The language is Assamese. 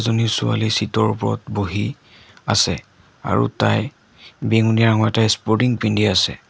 নী ছোৱালী চিট ৰ ওপৰত বহি আছে আৰু তাই বেঙুনীয়া ৰঙৰ এটা স্পৰ্টিং পিন্ধি আছে।